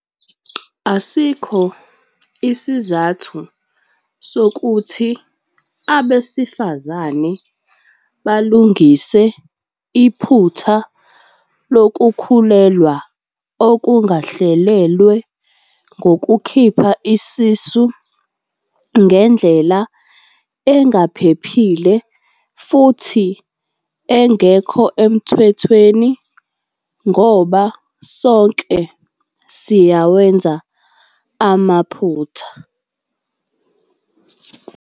Asikho isizathu sokuthi abesifazane balungise iphutha lokukhulelwa okungahlelelwe ngokukhipha isisu ngendlela engaphephile futhi engekho emthethweni ngoba sonke siyawenza amaphutha.